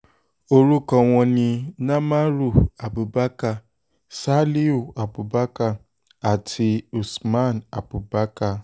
orúkọ wọn ni namaru abubakar saliu abubakar àti usman abubakar